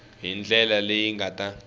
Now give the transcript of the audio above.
hi ndlela leyi nga ta